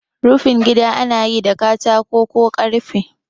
Rufin gida anayi da katako ko karfe